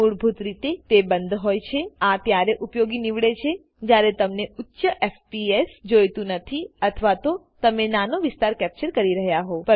મૂળભૂત રીતે તે બંદ હોય છેઆ ત્યારે ઉપયોગી નીવડે છેજયારે તમને ઉચ્ચ fpsજોઈતું નથી અથવા તો તમે નાનો વિસ્તાર કેપ્ચર કરી રહ્યા હોવ